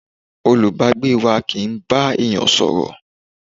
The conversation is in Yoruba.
Olùbágbé wá kì ń bá èèyàn sọ̀rọ̀